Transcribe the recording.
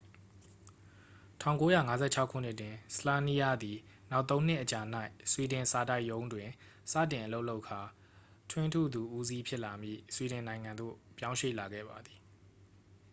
၁၉၅၆ ခုနှစ်တွင် słania သည် နောက်သုံးနှစ်အကြာ၌ ဆွီဒင်စာတိုက်ရုံးတွင် စတင်အလုပ်လုပ်ကာ ထွင်းထုသူဦးစီး ဖြစ်လာမည့် ဆွီဒင်နိုင်ငံသို့ပြောင်းရွှေ့လာခဲ့ပါသည်။